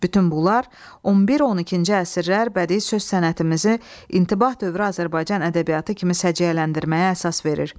Bütün bunlar 11-12-ci əsrlər bədii söz sənətimizi intibah dövrü Azərbaycan ədəbiyyatı kimi səciyyələndirməyə əsas verir.